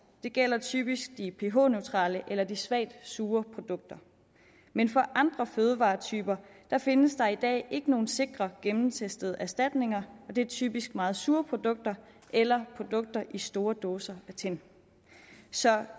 det gælder typisk de ph neutrale eller de svagt sure produkter men for andre fødevaretyper findes der i dag ikke nogen sikre gennemtestede erstatninger og det er typisk meget sure produkter eller produkter i store dåser af tin så